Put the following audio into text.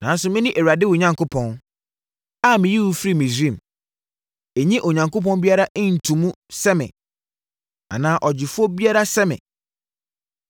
“Nanso mene Awurade wo Onyankopɔn, a meyii wo firii Misraim. Nnye Onyankopɔn biara nto mu sɛ me, anaa Ɔgyefoɔ biara sɛ me.